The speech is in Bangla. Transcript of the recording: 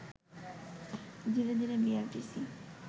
ধীরে ধীরে বিআরটিসি